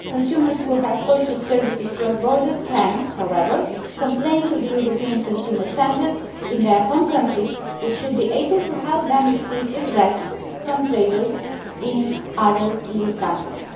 consumers who have purchased cross border services can, however, complain to the European consumer centre in their home country, which should be able to help them receive redress from traders in other EU countries.